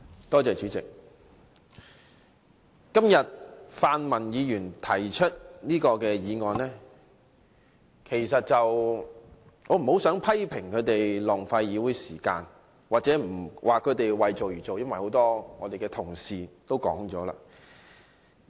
對於泛民議員提出的這項議案，我不太想批評他們浪費議會時間或為做而做，因為很多同事已作出這些批評。